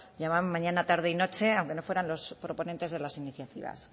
llamaban mañana tarde y noche aunque no fueran los proponentes de las iniciativas